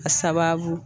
A sababu